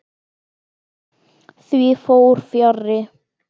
Því fór fjarri.